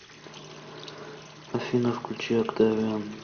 афина включи октавиан